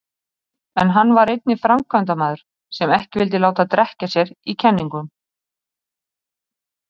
En hann var einnig framkvæmdamaður sem ekki vildi láta drekkja sér í kenningum.